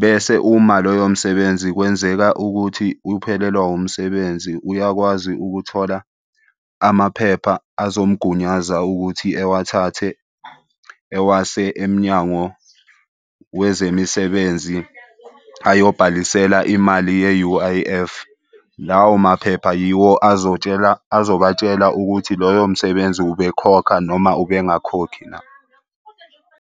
Bese uma loyo msebenzi kwenzeka ukuthi uphelelwa umsebenzi uyakwazi ukuthola amaphepha azomgunyaza ukuthi ewathathe ewase emnyango wezemisebenzi ayobhalisela imali ye-U_I_F. Lawo maphepha yiwo azotshela azobatshela ukuthi loyo msebenzi ubekhokha noma ubengakhokhi na.